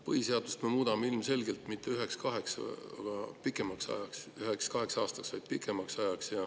Põhiseadust me muudame ilmselgelt mitte üheks-kaheks aastaks, vaid pikemaks ajaks.